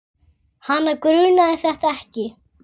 Hana grunaði þetta ekki.